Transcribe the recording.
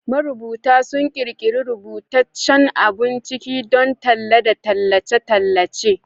Marubuta sun ƙirƙiri rubutaccen abun ciki don talla da tallace-tallace